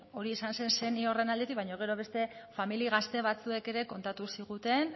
hori izan zen seniorren aldetik baina gero beste familia gazte batzuek ere kontatu ziguten